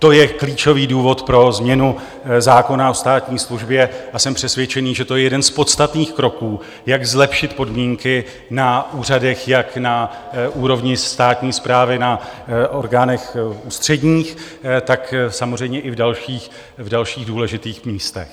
To je klíčový důvod pro změnu zákona o státní službě a jsem přesvědčený, že to je jeden z podstatných kroků, jak zlepšit podmínky na úřadech, jak na úrovni státní správy, na orgánech ústředních, tak samozřejmě i v dalších důležitých místech.